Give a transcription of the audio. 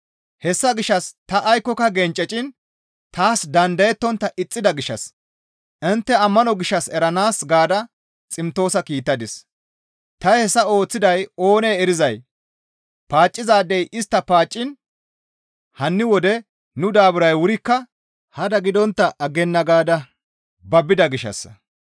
Hessa gishshas ta aykkoka genceciin taas dandayettontta ixxida gishshas intte ammano gishshas eranaas gaada Ximtoosa kiittadis; ta hessa ooththiday oonee erizay paaccizaadey istta paacciin hanni wode nu daaburay wurikka hada gidontta aggenna gaada babbida gishshassa.